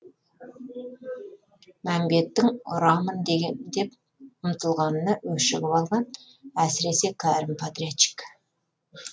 мәмбеттің ұрамын деп ұмтылғанына өшігіп алған әсіресе кәрім подрядчик